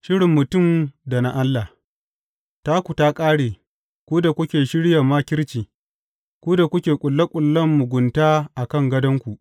Shirin mutum da na Allah Taku ta ƙare, ku da kuke shirya makirci, ku da kuke ƙulle ƙullen mugunta a kan gadonku!